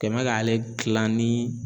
kɛ n mɛ k'ale gilan ni